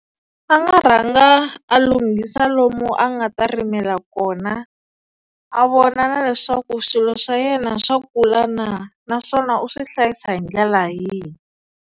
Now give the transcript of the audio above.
A nga rhanga a lunghisa lomu a nga ta rimela kona a vona na leswaku swilo swa yena swa kula na, naswona u swi hlayisa hi ndlela yihi.